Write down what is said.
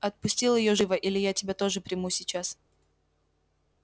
отпустил её живо или я тебя тоже приму сейчас